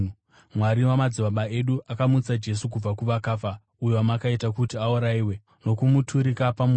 Mwari wamadzibaba edu akamutsa Jesu kubva kuvakafa uyo wamakaita kuti aurayiwe nokumuturika pamuti.